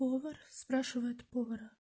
повар спрашивает повара